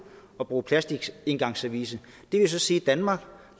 at bruge plastiksengangsservice det vil så sige i danmark